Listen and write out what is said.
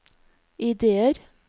ideer